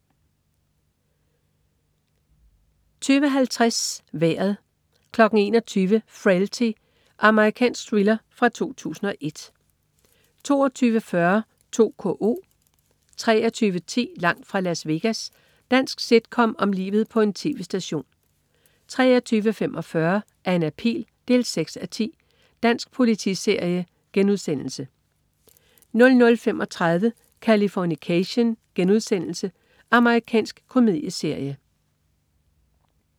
20.50 Vejret 21.00 Frailty. Amerikansk thriller fra 2001 22.40 2KO 23.10 Langt fra Las Vegas. Dansk sitcom om livet på en tv-station 23.45 Anna Pihl 6:10 Dansk politiserie* 00.35 Californication.* Amerikansk komedieserie